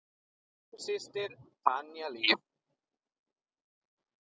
Þín systir, Tanya Líf.